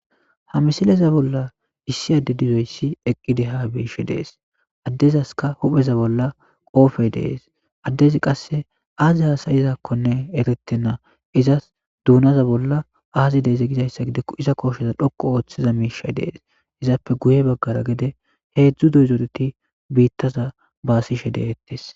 ha misileza bolla issi adde dizoyssi eqqide ha biishe dees addezaska hupheza bolla qoofey dees addezi qasse aazi hasayizakkonne eretenna izas duunaza bolla aazi deeze gizayssa gide iza kosheza dhoqu ooththiza miishay dees izappe guye baggara gede heedzdzu doyzoreti biittaza baasishe deettes